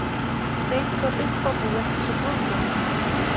Steindór uppábúinn eins og brúðgumi.